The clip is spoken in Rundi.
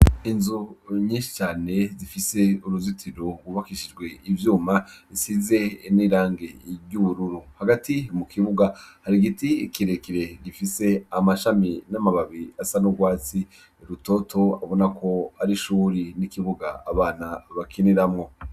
Inzu nyiscane zifise uruzitiro wubakishijwe ivyuma nsize inirange iryururu hagati mu kibuga hari igiti ikirekire gifise amashami n'amababi asa n'urwatsi rutoto abona ko ari shuri n'ikibuga abana bakiniramwo.